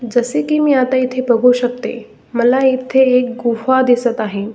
जसे की आता इथे बघू शकते की मला इथे एक गुफा दिसत आहे.